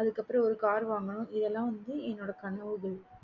அதுக்கு அப்பறம் ஒரு car வாங்கணும் இதுலா வந்து என் கனவுகள்